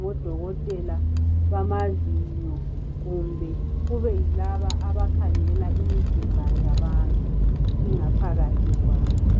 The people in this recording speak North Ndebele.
ngodokotela bamazinyo kumbe kube yilaba abakhangela imizimba yabantu ingaphakathi kwayo.